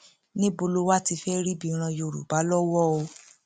níbo lo wáá ti fẹẹ rí ibi ran yorùbá lọwọ o